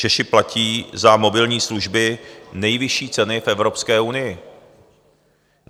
Češi platí za mobilní služby nejvyšší ceny v Evropské unii.